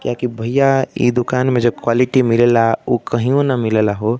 क्या है की भईया ई दुकान में जो क्वालिटी मिलेला उ कहियों न मिलेला हो।